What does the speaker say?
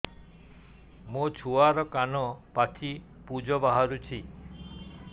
ମୋ ଛୁଆର କାନ ପାଚି ପୁଜ ବାହାରୁଛି